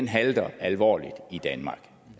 halter alvorligt i danmark